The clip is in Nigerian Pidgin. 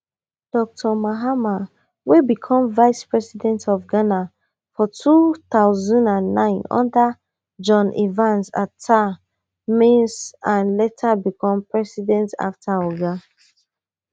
dr mahama wey become vice president of ghana for two thousand and nine under john evans atta mills and later become president afta oga